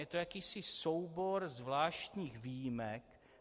Je to jakýsi soubor zvláštních výjimek.